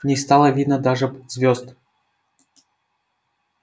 не стало видно даже звёзд